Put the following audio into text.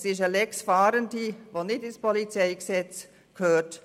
Es ist eine «Lex Fahrende», die nicht ins PolG gehört.